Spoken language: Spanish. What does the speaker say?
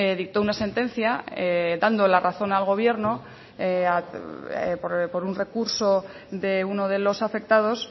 dictó una sentencia dando la razón al gobierno por un recurso de uno de los afectados